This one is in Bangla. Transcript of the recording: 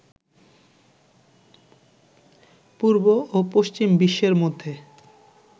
পূর্ব ও পশ্চিম বিশ্বের মধ্যে